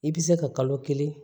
I bɛ se ka kalo kelen